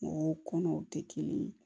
O kɔnɔw tɛ kelen ye